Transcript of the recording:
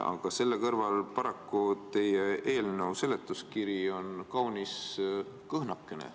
Aga selle kõrval on teie eelnõu seletuskiri paraku kaunis kõhnakene.